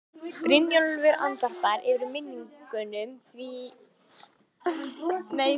Brynjólfur andvarpar, yfir minningunum og því að bjórinn skuli vera búinn.